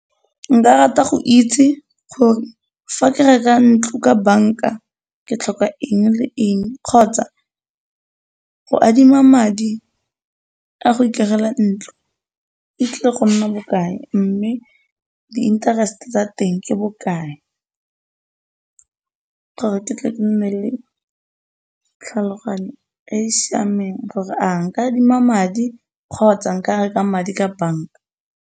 Nka rata go itse gore fa ke reka ntlo ka banka ke tlhoka eng le eng kgotsa go adima madi a go itirela ntlo e tlile go nna bokae mme di interest tsa teng ke bokae, gore ke tle ke nne le tlhaloganyo e e siameng gore a nka adima madi kgotsa nka reka madi ka banka.